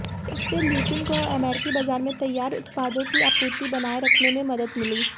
इससे ल्यूपिन को अमेरिकी बाजार में तैयार उत्पादों की आपूर्ति बनाए रखने में मदद मिली